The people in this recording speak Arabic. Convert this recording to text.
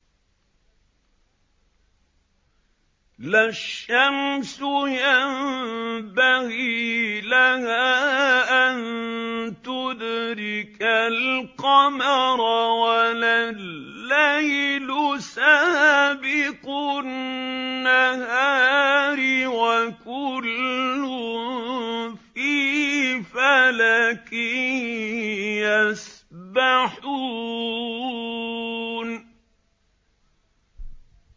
لَا الشَّمْسُ يَنبَغِي لَهَا أَن تُدْرِكَ الْقَمَرَ وَلَا اللَّيْلُ سَابِقُ النَّهَارِ ۚ وَكُلٌّ فِي فَلَكٍ يَسْبَحُونَ